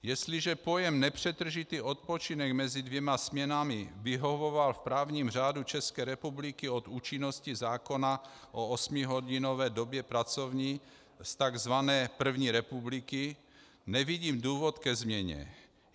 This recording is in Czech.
Jestliže pojem nepřetržitý odpočinek mezi dvěma směnami vyhovoval v právním řádu České republiky od účinnosti zákona o osmihodinové době pracovní z tzv. první republiky, nevidím důvod ke změně.